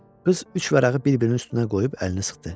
Qız üç vərəqi bir-birinin üstünə qoyub əlini sıxdı.